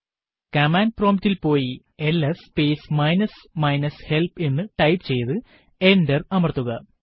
command prompt ൽ പോയി LS space minus minus help എന്ന് ടൈപ്പ് ചെയ്തു എന്റർ അമർത്തുക